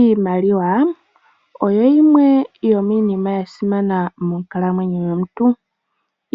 Iimaliwa oyo yimwe yomiinima ya simana monkalamwenyo yomuntu.